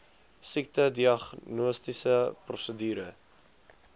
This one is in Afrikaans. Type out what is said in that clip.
siekte diagnostiese prosedure